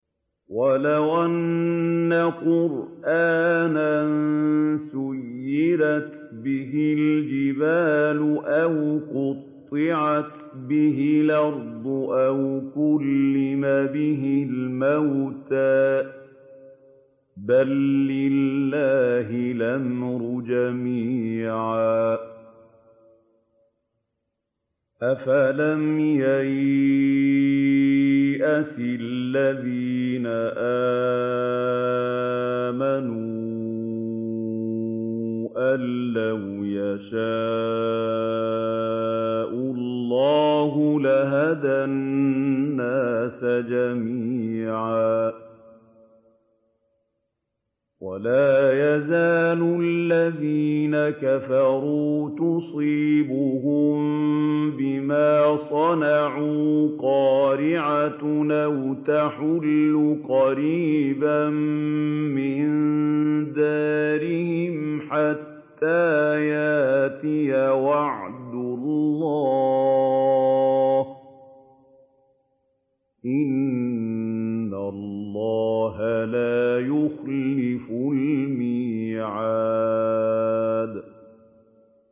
وَلَوْ أَنَّ قُرْآنًا سُيِّرَتْ بِهِ الْجِبَالُ أَوْ قُطِّعَتْ بِهِ الْأَرْضُ أَوْ كُلِّمَ بِهِ الْمَوْتَىٰ ۗ بَل لِّلَّهِ الْأَمْرُ جَمِيعًا ۗ أَفَلَمْ يَيْأَسِ الَّذِينَ آمَنُوا أَن لَّوْ يَشَاءُ اللَّهُ لَهَدَى النَّاسَ جَمِيعًا ۗ وَلَا يَزَالُ الَّذِينَ كَفَرُوا تُصِيبُهُم بِمَا صَنَعُوا قَارِعَةٌ أَوْ تَحُلُّ قَرِيبًا مِّن دَارِهِمْ حَتَّىٰ يَأْتِيَ وَعْدُ اللَّهِ ۚ إِنَّ اللَّهَ لَا يُخْلِفُ الْمِيعَادَ